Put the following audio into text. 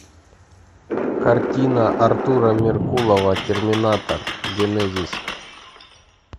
картина артура меркулова терминатор генезис